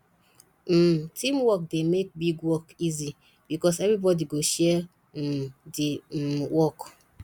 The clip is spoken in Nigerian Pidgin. um teamwork dey make big work easy because everybody go share um di um work